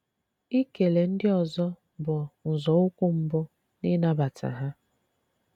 Ìkele ndị ọzọ́ bụ́ nzọụkwụ́ mbụ́ n’ị̀nabata ha.